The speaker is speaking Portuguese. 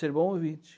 Ser um bom ouvinte.